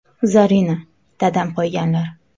Zarina: Dadam qo‘yganlar.